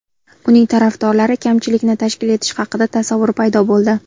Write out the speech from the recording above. Uning tarafdorlari kamchilikni tashkil etishi haqida tasavvur paydo bo‘ldi.